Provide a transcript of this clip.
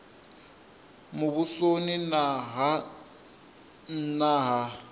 muvhusoni na ha nna ha